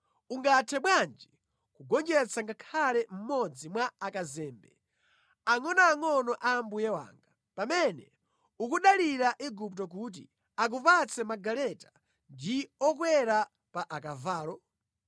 Ungathe bwanji kugonjetsa ngakhale mmodzi mwa akazembe angʼonoangʼono a mbuye wanga, pamene ukudalira Igupto kuti akupatse magaleta ndi anthu okwera pa akavalo?